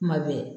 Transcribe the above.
Kuma bɛɛ